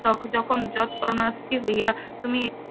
তখন যখন . হইয়া তুমি